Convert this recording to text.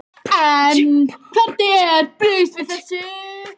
En hvernig er brugðist við þessu?